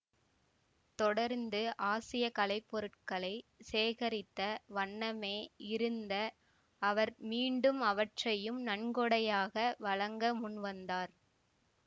தொடர்ந்து ஆசிய கலைப்பொருட்களைச் சேகரித்த வண்ணமே இருந்த அவர் மீண்டும் அவற்றையும் நன்கொடையாக வழங்க முன் வந்தார்